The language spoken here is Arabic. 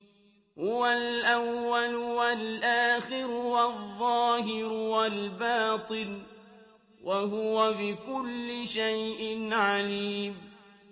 هُوَ الْأَوَّلُ وَالْآخِرُ وَالظَّاهِرُ وَالْبَاطِنُ ۖ وَهُوَ بِكُلِّ شَيْءٍ عَلِيمٌ